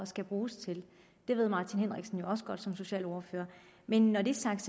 skal bruges til det ved herre martin henriksen jo også godt som socialordfører men når det er sagt